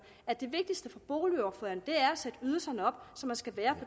at det vigtigste for boligordføreren er at sætte ydelserne op så man skal være